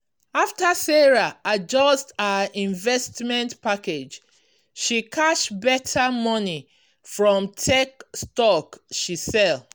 after sarah adjust her investment package she cash better money from tech stock she sell.